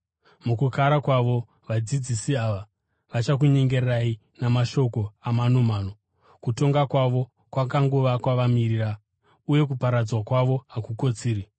Mukukara kwavo, vadzidzisi ava vachakunyengerai namashoko amanomano. Kutongwa kwavo kwakanguva kwavamirira, uye kuparadzwa kwavo hakukotsiri.